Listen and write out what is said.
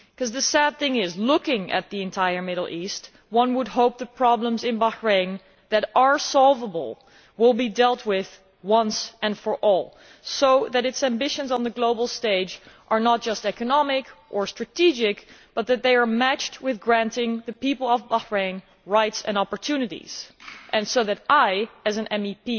The sad thing is that, looking at the entire Middle East, one would hope that problems in Bahrain that are solvable will be dealt with once and for all, so that its ambitions on the global stage are not just economic or strategic, but are matched with granting the people of Bahrain rights and opportunities and so that I, as an MEP,